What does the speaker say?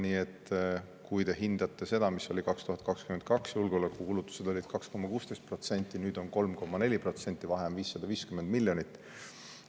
Nii et kui te hindate seda, siis 2022. aastal olid julgeolekukulutused 2,16%, nüüd on 3,4%, vahe on 550 miljonit eurot.